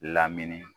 Lamini